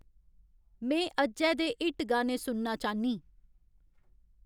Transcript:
में अज्जै दे हिट गाने सुनना चाह्न्नीं